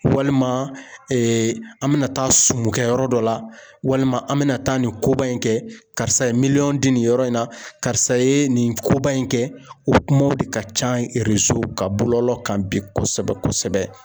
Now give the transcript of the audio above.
Walima an bɛna taa sumukɛ yɔrɔ dɔ la walima an bɛna taa nin koba in kɛ karisa ye miliyɔn di nin yɔrɔ in na karisa ye nin koba in kɛ o kuma de ka ca kan bɔlɔlɔ kan bi kosɛbɛ kosɛbɛ.